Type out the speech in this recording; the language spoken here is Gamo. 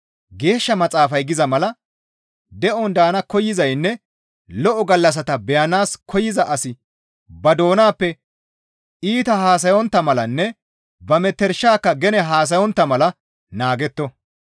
Geeshsha Maxaafay giza mala, «De7on daana koyzaynne lo7o gallassata beyanaas koyza asi ba doonappe iita haasayontta malanne ba metershatikka gene haasayontta mala naagetto.